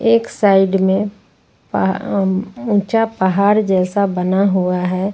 एक साइड में पा अम् ऊंचा पहार जैसा बना हुआ है।